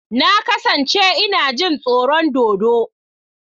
Na kasance ina jin tsoron dodo.